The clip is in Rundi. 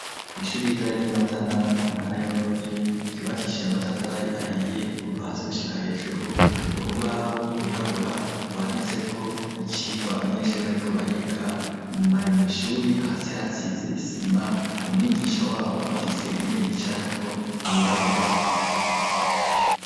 Kwishuri ritoya ry'imatana mu ntara ya Bururi , ryubakishije amatafari ahiye kuva hasi gushika hejuru, urubaho rwirabura , rwanditseko icigwa abanyeshuri bariko bariga bari mwishuri , hasi hasize isima umwigisha wabo afise intebe yicarako yirabura.